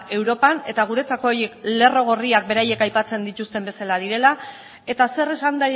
europan eta guretzako horiek lerro gorriak beraiek aipatzen dituzten bezala direla eta zer esan